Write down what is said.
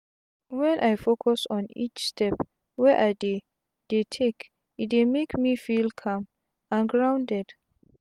wen i focus on each step wey i dey dey take e dey make me feel calm and grounded.